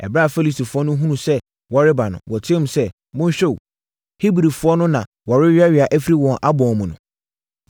Ɛberɛ a Filistifoɔ no hunuu sɛ wɔreba no, wɔteam sɛ, “Monhwɛ o! Hebrifoɔ no na wɔreweawea afiri wɔn abɔn mu no!”